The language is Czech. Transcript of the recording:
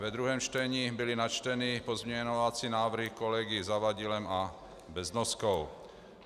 Ve druhém čtení byly načteny pozměňovací návrhy kolegy Zavadilem a Beznoskou.